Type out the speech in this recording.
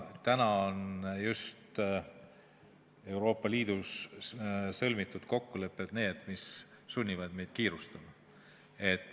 Täna on just Euroopa Liidus sõlmitud kokkulepped need, mis sunnivad meid kiirustama.